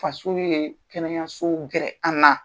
Faso ye kɛnɛyaso gɛrɛ an na.